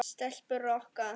Stelpur Rokka!